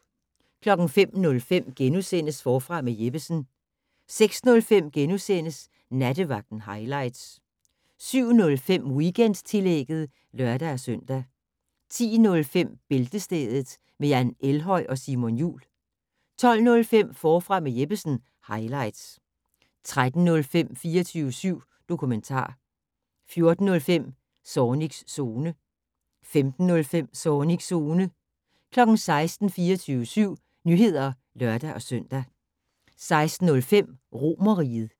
05:05: Forfra med Jeppesen * 06:05: Nattevagten highlights * 07:05: Weekendtillægget (lør-søn) 10:05: Bæltestedet med Jan Elhøj og Simon Jul 12:05: Forfra med Jeppesen - highlights 13:05: 24syv dokumentar 14:05: Zornigs Zone 15:05: Zornigs Zone 16:00: 24syv Nyheder (lør-søn) 16:05: Romerriget